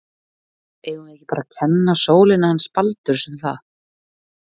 Eigum við ekki bara að kenna sólinni hans Baldurs um það?